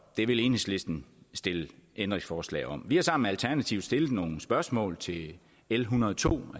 det vil enhedslisten stille ændringsforslag om vi har sammen med alternativet stillet nogle spørgsmål til l en hundrede og to